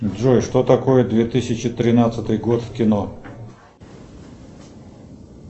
джой что такое две тысячи тринадцатый год в кино